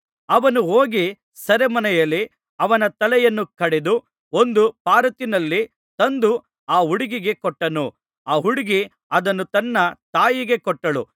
ಅವನು ಹೋಗಿ ಸೆರೆಮನೆಯಲ್ಲಿ ಅವನ ತಲೆಯನ್ನು ಕಡಿದು ಒಂದು ಪರಾತಿನಲ್ಲಿ ತಂದು ಆ ಹುಡುಗಿಗೆ ಕೊಟ್ಟನು ಆ ಹುಡುಗಿ ಅದನ್ನು ತನ್ನ ತಾಯಿಗೆ ಕೊಟ್ಟಳು